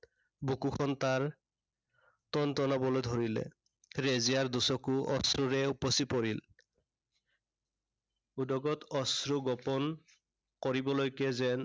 বুকুখন তাৰ টনটনাবলৈ ধৰিলে। ৰেজিয়াৰ দুচকু অশ্ৰুৰে উপচি পৰিল। উদগত অশ্ৰু গোপন, কৰিবলৈকে যেন